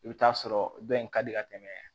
I bɛ t'a sɔrɔ dɔ in ka di ka tɛmɛ